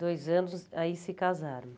Dois anos, aí se casaram.